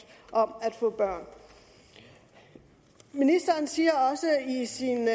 om at få børn ministeren siger også i sin